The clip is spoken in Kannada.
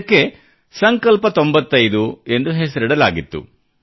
ಇದಕ್ಕೆ ಸಂಕಲ್ಪ 95 ಎಂದು ಹೆಸರಿಡಲಾಗಿತ್ತು